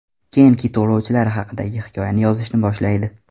Keyin kit ovlovchilari haqidagi hikoyani yozishni boshlaydi.